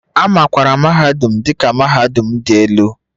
A makwaara mahadum dị ka mahadum dị elu